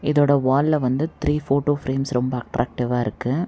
இதோட வால்ல வந்து த்ரீ ஃபோட்டோ ஃபிரேம்ஸ் ரொம்ப அட்ராக்டிவா இருக்கு.